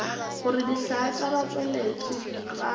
gore dihlaa tša batšweletši ga